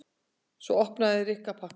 Svo opnaði Rikka pakkann.